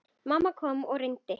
Mamma kom og reyndi.